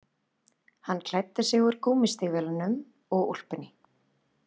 Hann klæddi sig úr gúmmístígvélunum og úlpunni